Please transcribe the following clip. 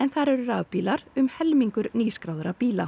þar eru rafbílar um helmingur nýskráðra bíla